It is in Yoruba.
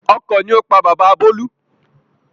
Ọkọ̀ ni ó pa bàbá bolu